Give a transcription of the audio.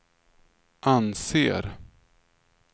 anser